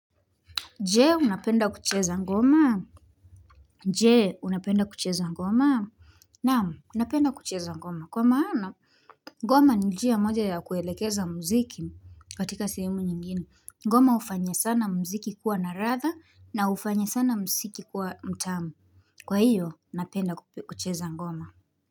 Jee, unapenda kucheza ngoma? Je unapenda kucheza ngoma? Naam, napenda kucheza ngoma. Kwa maana, ngoma ni njia moja ya kuelekeza mziki katika sehemu nyingine. Mgoma hufanya sana mziki kuwa naradha na hufanye sana mziki kuwa mtamu. Kwa hiyo, napenda kucheza ngoma.